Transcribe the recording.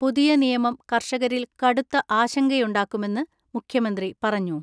പുതിയ നിയമം കർഷകരിൽ കടുത്ത ആശങ്കയുണ്ടാക്കുമെന്ന് മുഖ്യമന്ത്രി പറഞ്ഞു.